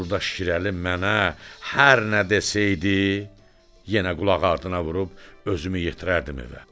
Burda Şirəli mənə hər nə desəydi, yenə qulaqardına vurub özümü yetirərdim evə.